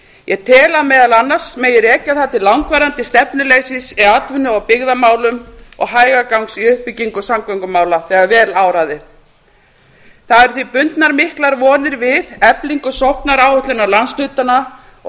ég tel að meðal annars megi rekja það til langvarandi stefnuleysis eða í atvinnu og byggðamálum og hægagangs í uppbyggingu samgöngumála þegar vel áraði það eru því bundnar miklar vonir við eflingu sóknaráætlunar landshlutanna og